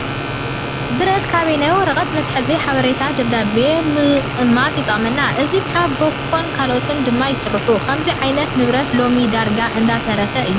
ብረት ካብኔት ወረቀት መተሓዚ ሓበሬታታትን ደብዳቤታትን ምቅማጥ ይጠቅመና። እዚ ካብ ባኮን ካልኦት ድማ ይርስሑ። ከምዙ ዓይነት ንብረት ሎሚ ዳርጋ እንዳተረፈ እዩ።